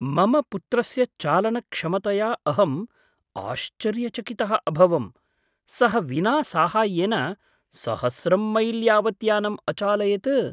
मम पुत्रस्य चालनक्षमतया अहम् आश्चर्यचकितः अभवम्, सः विना साहाय्येन सहस्रं मैल् यावत् यानम् अचालयत्!